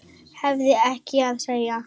Hefur ekkert að segja.